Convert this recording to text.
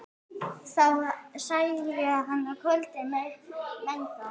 þá særði hann kvölin megna.